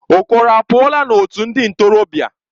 Okoro apuola otu ndi ntorobia?